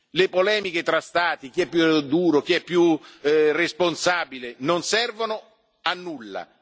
Le polemiche fra Stati chi è più duro, chi è più responsabile non servono a nulla.